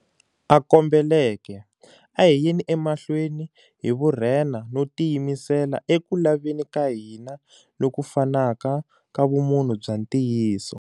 A kombeleke, a hi yeni emahlweni hi vurhenha no tiyimisela eku laveni ka hina loku fanaka ka vumunhu bya ntiyiso.